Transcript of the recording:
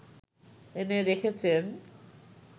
এনে রেখেছেন